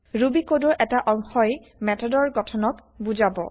Ruby কোডৰ এটা অংশই মেথডৰ গঠনক বুজাব